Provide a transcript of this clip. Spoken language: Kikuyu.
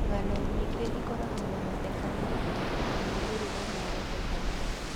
Ng'ano nyingĩ ikoragwo na mathekania na moimĩrĩro ma gũthekania.